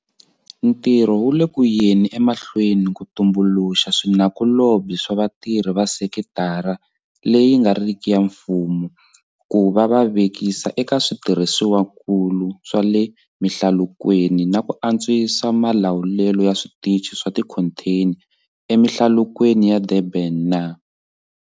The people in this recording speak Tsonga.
Ntirho wu le ku yeni emahlweni ku tumbuluxa swinakulobye na vatirhi va sekitara leyi nga riki ya mfumo ku va va vekisa eka switirhisiwakulu swa le mihlalukweni na ku antswisa malawulelo ya switichi swa tikhontheni emihlalukweni ya Durban na.